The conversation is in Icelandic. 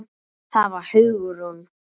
Það var Hugrún!